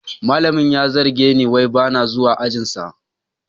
Malamin ya zarge ni wai ba na zuwa ajinsa